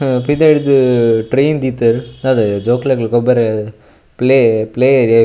ಅಹ್ ಪಿದಯ್ ಡ್ದ್ ಟ್ರೈನ್ ದೀತೆರ್ ದಾದಯೆ ಜೋಕ್ಲೆಗ್ಲ ಗೊಬ್ಬರೆ ಪ್ಲೇ ಪ್ಲೇ ಏರಿಯ .